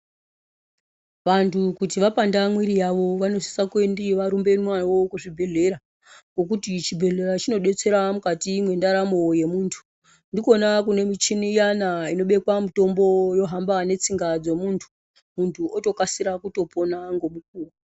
Vantu kuti vapanda mwiiri yavo vanosisa kuti varumbiwe navo kuzvibhehlera. Ngokuti chibhehlera chinodetsera mukati mwendaramo yomuntu. Ndikona kunemichini iyana inobekwa mutombo yohamba netsinga dzomuntu Muntu otokasira kutopona ndgomukuwo